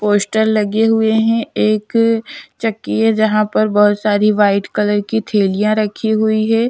poster लगे हुए हैं एक चक्की है जहाँ पर बहुत सारी वाइट कलर की थेलियाँ रखी हुई हैं--